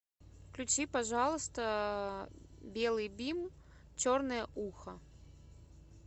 включи пожалуйста белый бим черное ухо